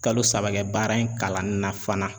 Kalo saba kɛ baara in kalan na fana.